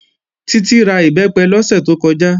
Títí ra Ìbẹ́pẹ lọ́sẹ̀ tó kọjá